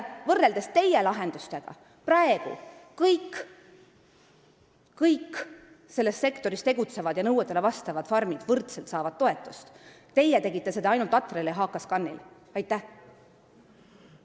Praegu saavad kõik selles sektoris tegutsevad ja nõuetele vastavad farmid võrdselt toetust, teie tegite toetuse ainult Atriale ja HKScanile.